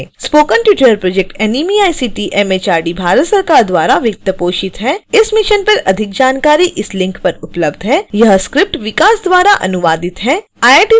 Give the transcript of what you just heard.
spoken tutorial project NMEICT MHRD Bharat सरकार द्वारा वित्त पोषित है इस मिशन पर अधिक जानकारी इस लिंक पर उपलब्ध है